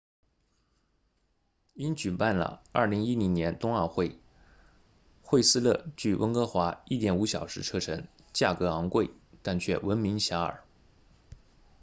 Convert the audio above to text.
因举办了2010年冬奥会惠斯勒距温哥华 1.5 小时车程价格高昂但却闻名遐迩